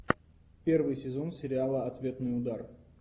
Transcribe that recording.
первый сезон сериала ответный удар